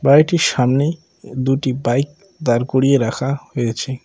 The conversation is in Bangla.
বাড়িটির সামনে দুটি বাইক দাঁড় করিয়ে রাখা হয়েছে।